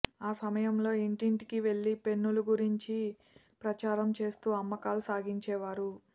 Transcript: ఆ సమయంలో ఇంటింటికీ వెళ్లి పెన్నుల గురించి ప్రచారం చేస్తూ అమ్మకాలు సాగించేవారు